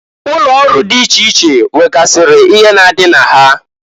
Ụlọ ọrụ di iche iche nwegasịrị ihe na-adị na ha.